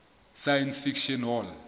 science fiction hall